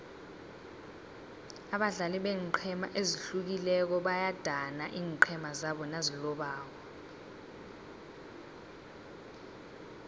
abadlali beenqhema ezihlukileko bayadana iinqhema zabo nazilobako